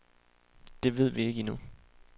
Det ved vi ikke endnu.